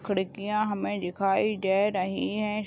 खिड़कियाँ हमें दिखाई दे रही है।